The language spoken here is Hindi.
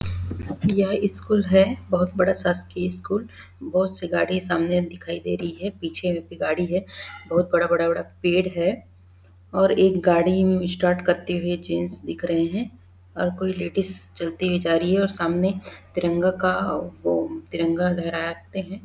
यह स्कूल है बहोत बड़ा शासकीय स्कूल बहोत से गाड़ी सामने दिखाई दे रही है पीछे में भी गाड़ी है बहोत बड़ा-बड़ा पेड़ है और एक गाड़ी में स्टार्ट करते हुए जेंट्स दिख रहे है और कोई लेडीज चलती हुई जा रही है और सामने तिरंगा का वो तिरंगा लहराते है।